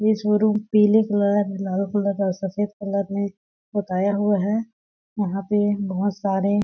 ये शोरूम पीले कलर लाल कलर सफेद कलर मे पोताया हुआ है यहाँ पे बहूत सारे--